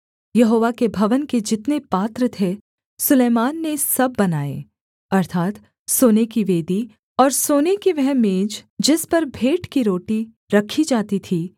यहोवा के भवन के जितने पात्र थे सुलैमान ने सब बनाए अर्थात् सोने की वेदी और सोने की वह मेज जिस पर भेंट की रोटी रखी जाती थी